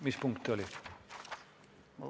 Mis punkt ta oli?